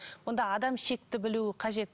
онда адам шекті білуі қажет